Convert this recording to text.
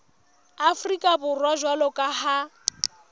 afrika borwa jwalo ka ha